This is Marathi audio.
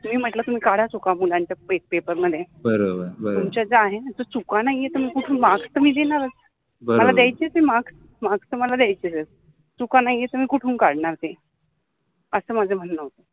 त्यानि म्हटल कि काढा चुका मुलांच्या पेपरमधे, मुलांच्या ज्या आहे न त्या चुका नाहि आहे त्यामुळे मार्क्स तर मि देनारच, मला द्यायचच आहे मार्क्स, मार्क्स तर मला द्यायचे आहेच, चुका नाहि आहे तर मि कुठुन काढनार ते अस माझ म्हनन होत